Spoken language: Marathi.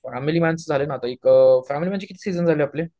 फॅमिली मॅन चे झाले ना आता, एक फॅमिली मॅन चे किती सीजन झालेआपले?